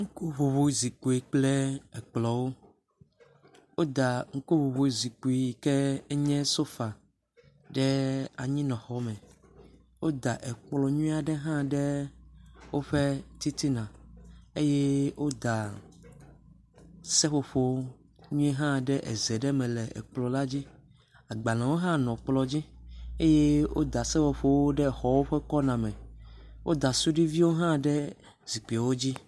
Ŋkuŋuŋuizikpuiwo kple ekplɔ̃wo. Woda ŋkuŋuŋuizikpi yi kee enye sofa ɖe anyinɔxɔme. Woda ekplɔ̃ nyuie aɖe hã ɖe woƒe titina eye woda seƒoƒowo nyuie hã ɖe eze ɖe me le ekplɔ̃ dzi. Agɖbalẽwo hã nɔ kplɔ̃ dzi eye woda seƒoƒowo ɖe exɔwo ƒe kɔna me. woda suɖiviwo hã ɖe zikpiwo dzi